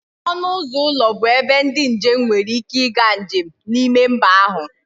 Ọnụ ụzọ ụlọ bụ ebe ndị njem nwere ike ịga njem n'ime mba ahụ